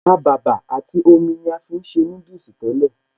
Ọkàbàbà àti omi ni a fi ń ṣe núdùsì tẹ́lẹ̀